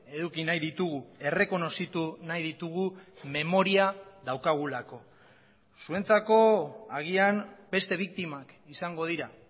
eduki nahi ditugu errekonozitu nahi ditugu memoria daukagulako zuentzako agian beste biktimak izango dira